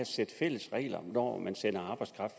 sæt fælles regler når man sender arbejdskraft